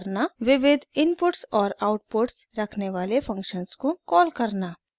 * विविध इनपुट्स और आउटपुट्स रखने वाले फंक्शन्स को कॉल करना